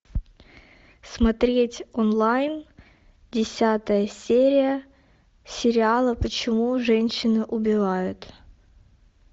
смотреть онлайн десятая серия сериала почему женщины убивают